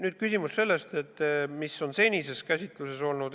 Nüüd küsimus sellest, mis siis on seni käsitluse all olnud.